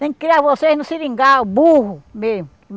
Tem que criar vocês no seringal, burro mesmo.